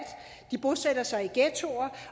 de bosætter sig i ghettoer